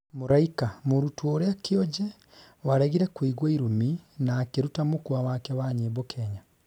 Mũraika: mũrũtwo ũria kĩonje waregire kuigwa irũmi na akĩruta mukwa wake wa nyĩmbo Kenya